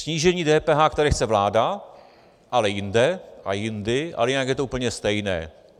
Snížení DPH, které chce vláda, ale jinde a jindy, ale jinak je to úplně stejné.